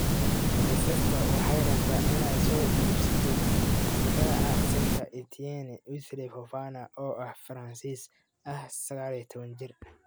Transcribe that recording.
(Mail) Leicester waxay rabtaa inay soo iibsatay difaaca Saint-Etienne, Wesley Fofana oo ah Faransiis ah 19 jir.